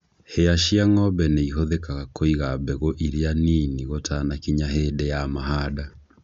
Hĩa cia ng'ombe nĩ ihũthagĩrwo kũiga mbegũ iria nini gũtanakinya hĩndĩ ya mahanda.